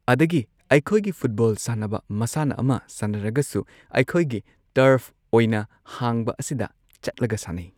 ꯑꯗꯒꯤ ꯑꯩꯈꯣꯏꯒꯤ ꯐꯨꯠꯕꯣꯜ ꯁꯥꯟꯅꯕ ꯃꯁꯥꯟꯅ ꯑꯃ ꯁꯥꯟꯅꯔꯒꯁꯨ ꯑꯩꯈꯣꯏꯒꯤ ꯇꯔꯐ ꯑꯣꯏꯅ ꯍꯥꯡꯕ ꯑꯁꯤꯗ ꯆꯠꯂꯒ ꯁꯥꯟꯅꯩ ꯫